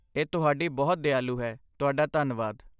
ਇਹ ਤੁਹਾਡੀ ਬਹੁਤ ਦਿਆਲੂ ਹੈ, ਤੁਹਾਡਾ ਧੰਨਵਾਦ।